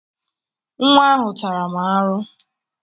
Nwa ahụ tara m arụ